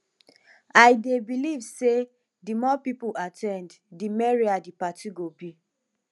i dey believe say di more people at ten d di merrier di party go be